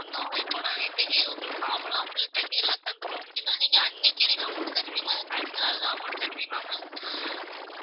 இப்ப நாங்க இன்னைக்கு உங்களுக்கு form எல்லாம் fill பண்ணி எல்லாம் தந்துட்டோம் அப்படின்னா நீங்க அன்னைக்கே நீங்க amount தருவீங்களா அதுக்கு அடுத்த நாள்தான் amount தருவீங்களா ma'am